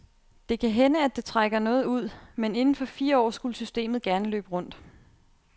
Det kan hænde, at det trækker noget ud, men inden for fire år skulle systemet gerne løbe rundt.